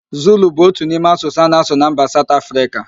Zulu bụ otu n'ime asụsụ a na-asụ na mba Saụt Afrịka